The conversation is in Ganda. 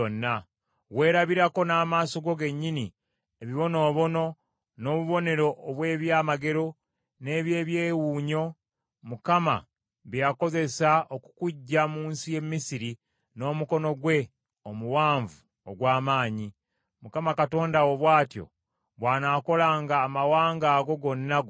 Weerabirako n’amaaso go gennyini ebibonoobono, n’obubonero obw’ebyamagero, n’eby’ekyewuunyo, Mukama bye yakozesa okukuggya mu nsi y’e Misiri n’omukono gwe omuwanvu ogw’amaanyi. Mukama Katonda wo bw’atyo bw’anaakolanga amawanga ago gonna g’otya.